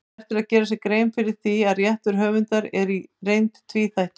Vert er að gera sér grein fyrir því að réttur höfundar er í reynd tvíþættur.